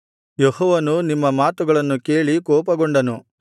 ಯೆಹೋವನು ನಿಮ್ಮ ಮಾತುಗಳನ್ನು ಕೇಳಿ ಕೋಪಗೊಂಡನು